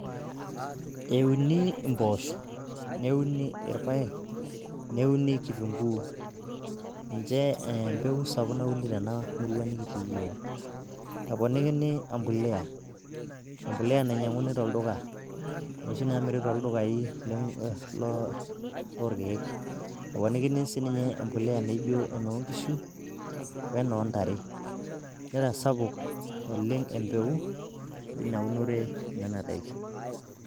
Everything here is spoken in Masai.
Euni impoosho, neuni irpaek, neuni kitunguu ninche empeku sapuk nauni tena murua nikitii yiook. Eponikini empuliya, empuliya nainyiang'uni toldukai, inoshi naamiri tooldukai lorkeek, eponikini sii ninye empuliya naijo enoo nkishu, wenoo ntare, nitasapuk naleng' empeku eina unore enena daikin.